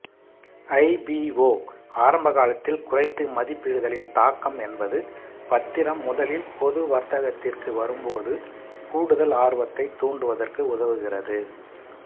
IPO ஆரம்பகாலத்தில் குறைத்து மதிப்பிடுதலின் தாக்கம் என்பது பத்திரம் முதலில் பொது வர்த்தகத்திற்கு வரும்போது கூடுதல் ஆர்வத்தைத் தூண்டுவதற்கு உதவுகிறது